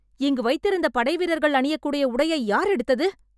இங்கு வைத்திருந்த படைவீரர்கள் அணியக்கூடிய உடையை யார் எடுத்தது?